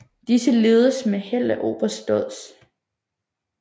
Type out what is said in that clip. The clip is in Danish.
Disse lededes med held af oberst Dodds